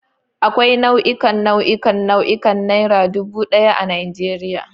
Akwai nau'ikan nau'ikan nau'ikan Naira dubu daya a Najeriya.